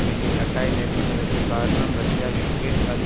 வேண்டிய கட்டாயம் ஏற்பட்டதற்கு காரணம் ரஷ்யாவிற்கு அது